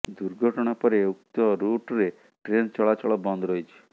ଦୁର୍ଘଟଣା ପରେ ଉକ୍ତ ରୁଟ୍ରେ ଟ୍ରେନ ଚଳାଚଳ ବନ୍ଦ ରହିଛି